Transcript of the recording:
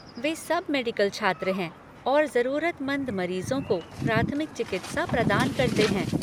वे सब मेडिकल छात्र हैं और जरूरतमंद मरीजों को प्राथमिक चिकित्सा प्रदान करते हैं।